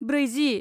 ब्रैजि